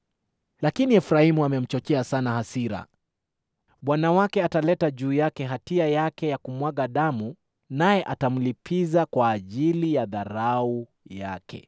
Lakini Efraimu amemchochea sana hasira; Bwana wake ataleta juu yake hatia yake ya kumwaga damu naye atamlipiza kwa ajili ya dharau yake.